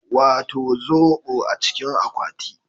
Wato zobo a cikin akwati